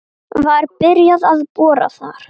Var byrjað að bora þar